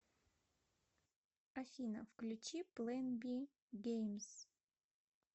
афина включи плэн би геймз